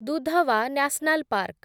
Dudhwa national park